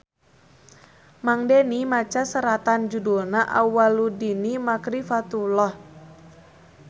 Mang Deni maca seratan judulna Awwaluddini Makrifatullah